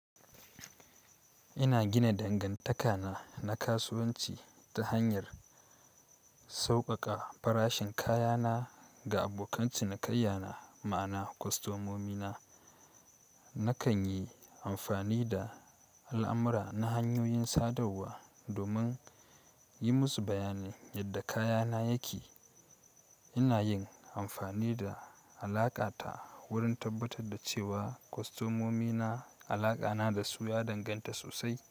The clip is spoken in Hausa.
Ina gina dangantaka na na kasuwanci ta hanyar sauƙaƙa farashin kaya na ga abokan cinikayya na, ma'ana kwastomomi na. Nakan yi amfani da al'amura na hanyoyin sadarwa domin yi musu bayanin yadda kaya na yake. Ina yin amfani da alaƙa ta wurin tabbatar da cewa kwastomomi na alaƙa na da su ya danganta sosai.